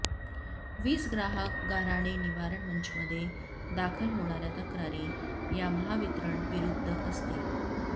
वीज ग्राहक गाऱ्हाणे निवारण मंचमध्ये दाखल होणाऱ्या तक्रारी या महावितरणविरुद्ध असतील